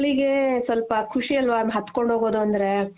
ಮಕ್ಳಿಗೆ ಸ್ವಲ್ಪ ಖುಷಿ ಅಲ್ವ ಹತ್ಕೊಂಡು ಹೋಗೋದು ಅಂದ್ರೆ